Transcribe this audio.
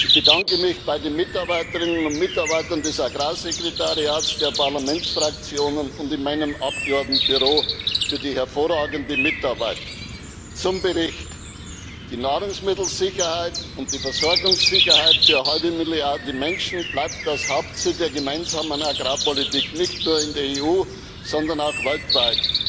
Ich bedanke mich bei den Mitarbeiterinnen und Mitarbeitern des Agrarsekretariats, der Parlamentsfraktionen und in meinem Abgeordnetenbüro für die hervorragende Mitarbeit. Zum Bericht Die Nahrungsmittelsicherheit und die Versorgungssicherheit für eine halbe Milliarde Menschen bleibt das Hauptziel der Gemeinsamen Agrarpolitik, nicht nur in der EU, sondern auch weltweit.